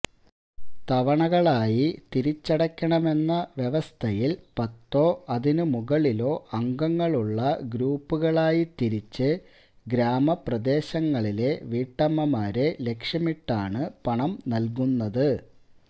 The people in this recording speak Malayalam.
തവണകളായി തിരിച്ചടയ്ക്കണമെന്ന വ്യവസ്ഥയിൽ പത്തോ അതിനു മുകളിലോ അംഗങ്ങളുള്ള ഗ്രൂപ്പുകളായി തിരിച്ച് ഗ്രാമപ്രദേശങ്ങളിലെ വീട്ടമ്മമാരെ ലക്ഷ്യമിട്ടാണ് പണം നൽകുന്നത്